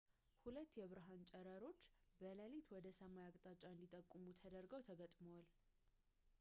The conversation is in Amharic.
ሁለት የብርሃን ጨረሮች በሌሊት ወደ ሰማይ አቅጣጫ እንዲጠቁሙ ተደርገው ተገጥመዋል